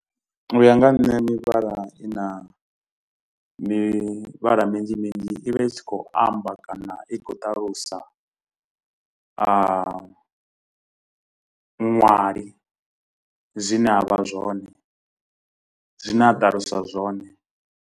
U ya nga ha nṋe mivhala i na mivhala minzhi minzhi i vha i tshi khou amba kana i khou ṱalusa muṅwali zwine a vha zwone zwine a ṱaluswa zwone.